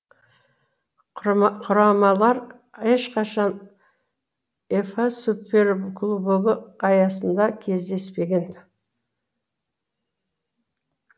құрамалар ешқашан уефа суперкубогы аясында кездеспеген